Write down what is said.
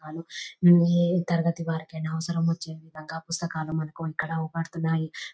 ఏ తరగతి వారికైనా అవసరం వచ్చే విధంగా పుస్తకాలు మనకు ఆకుపడుతున్నాయి.